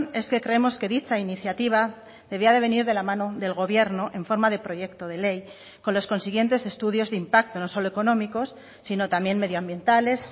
es que creemos que dicha iniciativa debía de venir de la mano del gobierno en forma de proyecto de ley con los consiguientes estudios de impacto no solo económicos sino también medioambientales